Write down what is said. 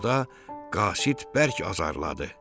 Yolda qasid bərk azarladı.